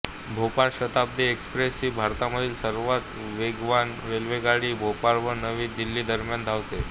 Bhopal Shatabdi express ही भारतामधील सर्वात वेगवान रेल्वेगाडी भोपाळ व नवी दिल्लीदरम्यान धावते